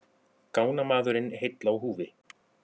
Gangnamaðurinn heill á húfi